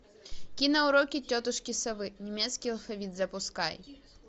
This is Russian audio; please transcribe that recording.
киноуроки тетушки совы немецкий алфавит запускай